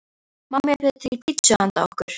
Mamma bjó til pitsu handa okkur.